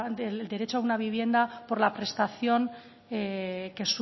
del derecho a una vivienda por la prestación